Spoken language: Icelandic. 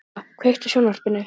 Gumma, kveiktu á sjónvarpinu.